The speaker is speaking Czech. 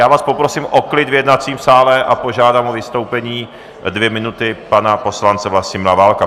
Já vás poprosím o klid v jednacím sále a požádám o vystoupení dvě minuty pana poslance Vlastimila Válka.